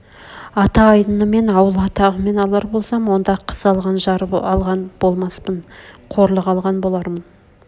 ата айдынымен ауыл атағымен алар болсам онда қыз алған жар алған болмаспын қорлық алған болармын